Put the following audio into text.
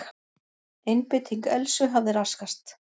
Einbeiting Elsu hafði raskast.